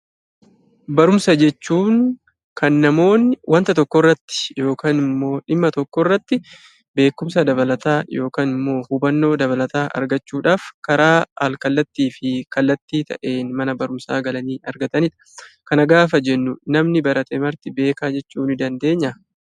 Barumsa jechuun kan namoonni wanta tokko irratti (dhimma tokko irratti) beekumsa dabalataa (hubannoo dabalataa) argachuudhaaf karaa al-kallattii fi kallattii ta'een mana barumsaa galanii argatani dha. Kana gaafa jennu namni barate marti beekaa jechuu ni dandeenyaa?